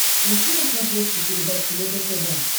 ищи на смотрешке передачу егэ тв